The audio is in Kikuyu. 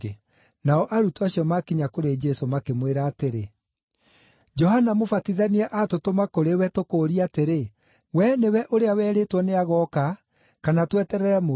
Nao arutwo acio maakinya kũrĩ Jesũ makĩmwĩra atĩrĩ, “Johana Mũbatithania aatũtũma kũrĩ we tũkũũrie atĩrĩ, ‘Wee nĩwe ũrĩa werĩtwo nĩagooka kana tweterere mũndũ ũngĩ?’ ”